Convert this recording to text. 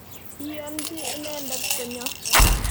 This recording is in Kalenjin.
Iyonchi inendet konyo.